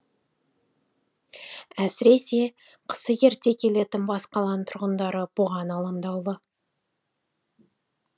әсіресе қысы ерте келетін бас қаланың тұрғындары бұған алаңдаулы